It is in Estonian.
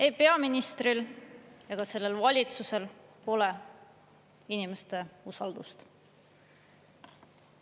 Ei peaministril ega sellel valitsusel pole inimeste usaldust.